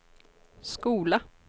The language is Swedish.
skola